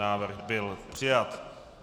Návrh byl přijat.